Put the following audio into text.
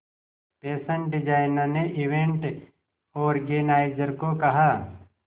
fashion designer ने event organiser को कहा